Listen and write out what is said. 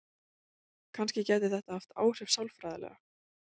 Kannski gæti þetta haft áhrif sálfræðilega.